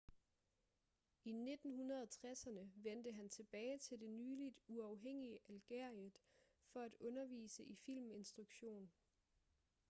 i 1960'erne vendte han tilbage til det nyligt uafhængige algeriet for at undervise i filminstruktion